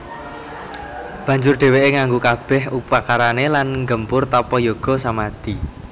Banjur dhèwèké nganggo kabèh upakarané lan nggempur tapa yoga samadi